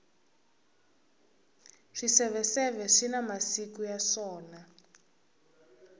swiseveseve swina masiku ya swona